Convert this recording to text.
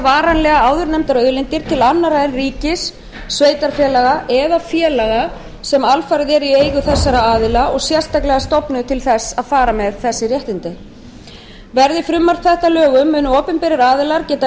varanlega áðurnefndar auðlindir til annarra en ríkis sveitarfélaga eða félaga sem alfarið eru í eigu þessara aðila og sérstaklega stofnuð til að fara með þessi réttindi verði frumvarp þetta að lögum munu opinberir aðilar geta